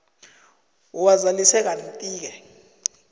uwazalise kantike